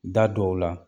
Da dɔw la